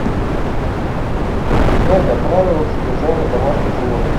узнать о правилах содержания домашних животных